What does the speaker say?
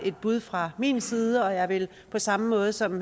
et bud fra min side og jeg vil på samme måde som